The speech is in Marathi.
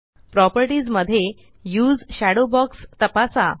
प्रॉपर्टीज मध्ये उसे शेडो बॉक्स तपासा